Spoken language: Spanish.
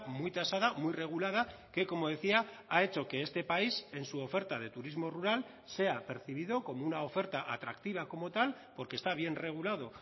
muy tasada muy regulada que como decía ha hecho que este país en su oferta de turismo rural sea percibido como una oferta atractiva como tal porque está bien regulado